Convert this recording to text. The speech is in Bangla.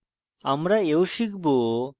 আমরা we শিখব: